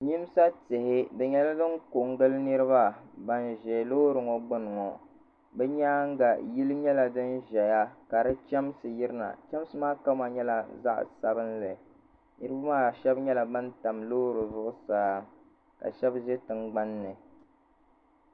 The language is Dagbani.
Yimsa tihi di nyɛla din ko n gili niriba ban zɛ loori ŋɔ gbuni ŋɔ bi yɛanga yili nyɛla dini ziya ka di chɛmsi yiri na chɛmsi maa kama nyɛla zaɣi sabinli niriba maa shɛba nyɛla bani tam loori zuɣusaa ka shɛba zɛ tiŋgbani.